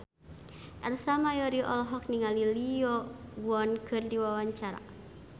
Ersa Mayori olohok ningali Lee Yo Won keur diwawancara